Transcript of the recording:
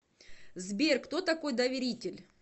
сбер кто такой доверитель